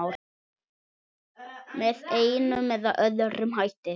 Með einum eða öðrum hætti.